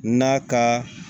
N'a ka